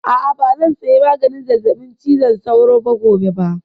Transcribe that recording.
A'a, ba zan saya maganin zazzaɓin cizon sauro gobe ba